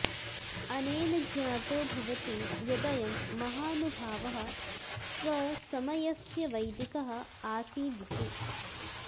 अनेन ज्ञातो भवति यदयं महानुभावः स्वसमयस्य वैदिकः अासीदिति